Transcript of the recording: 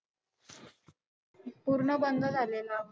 पूर्ण बंद झालेला.